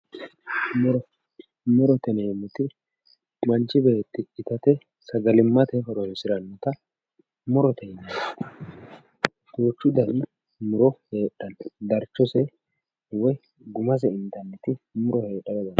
Muro, murote yineemmoti manchi beetti itate sagalimate horonsiranotta murote yinanni duuchu dani muro heedhano darchose woyi gumase intanni muro heedhara dandiittano.